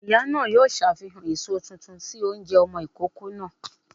Ìyá náà yóò ṣàfihàn èso tuntun sí oúnjẹ ọmọ ìkókó náà